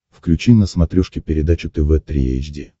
включи на смотрешке передачу тв три эйч ди